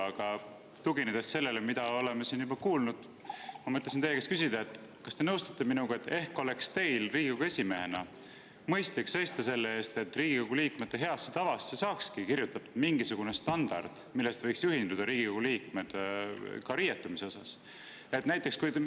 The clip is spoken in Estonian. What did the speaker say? Aga tuginedes sellele, mida oleme siin juba kuulnud, mõtlesin teie käest küsida, kas te nõustute minuga, et ehk oleks teil Riigikogu esimehena mõistlik seista selle eest, et Riigikogu liikmete heasse tavasse saakski kirjutatud mingisugune standard, millest võiks Riigikogu liikmed riietumisel juhinduda.